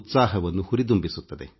ಇದು ಒಂದು ಮಹತ್ವದ ಕಾರ್ಯಕ್ರಮ